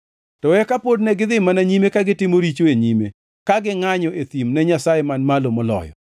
To eka pod negidhi mana nyime ka gitimo richo e nyime ka gingʼanyo e thim ne Nyasaye Man Malo Moloyo.